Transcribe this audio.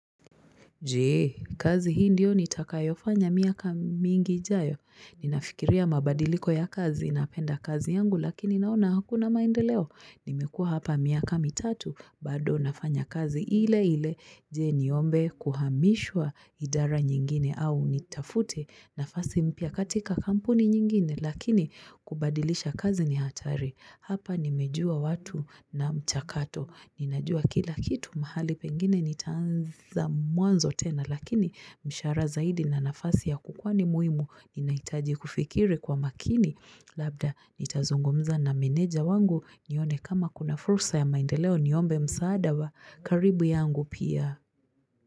Jee, kazi hii ndiyo nitakayofanya miaka mingi ijayo. Ninafikiria mabadiliko ya kazi napenda kazi yangu lakini naona hakuna maendeleo. Nimekuwa hapa miaka mitatu bado nafanya kazi ile ile. Jee niombe kuhamishwa idara nyingine au nitafute nafasi mpya katika kampuni nyingine lakini kubadilisha kazi ni hatari. Hapa nimejua watu na mchakato. Ninajua kila kitu mahali pengine nitaanza mwanzo tena lakini mshahara zaidi na nafasi ya kukwani muhimu ninahitaji kufikiri kwa makini labda nitazungumza na meneja wangu nione kama kuna fursa ya maendeleo niombe msaada wa karibu yangu pia.